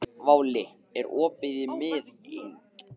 Váli, er opið í Miðeind?